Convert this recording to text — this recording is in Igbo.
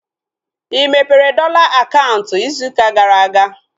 Ị mepere dọla akaụntụ ịzụ ụka gara aga?